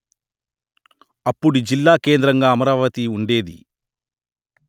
అప్పుడి జిల్లా కేంద్రగా అమరావతి ఉండేది